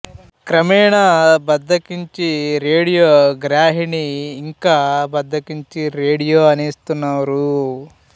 క్రమేణా బద్ధకించి రేడియో గ్రాహిణి ఇంకా బద్ధకించి రేడియో అనెస్తున్నారు